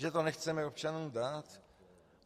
Že to nechceme občanům dát.